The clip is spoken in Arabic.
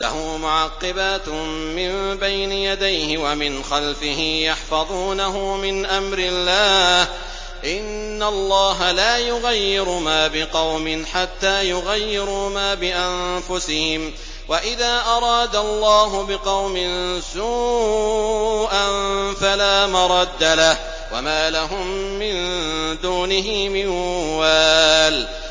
لَهُ مُعَقِّبَاتٌ مِّن بَيْنِ يَدَيْهِ وَمِنْ خَلْفِهِ يَحْفَظُونَهُ مِنْ أَمْرِ اللَّهِ ۗ إِنَّ اللَّهَ لَا يُغَيِّرُ مَا بِقَوْمٍ حَتَّىٰ يُغَيِّرُوا مَا بِأَنفُسِهِمْ ۗ وَإِذَا أَرَادَ اللَّهُ بِقَوْمٍ سُوءًا فَلَا مَرَدَّ لَهُ ۚ وَمَا لَهُم مِّن دُونِهِ مِن وَالٍ